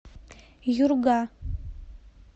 юрга